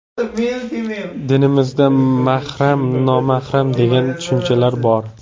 Dinimizda mahram, nomahram degan tushunchalar bor.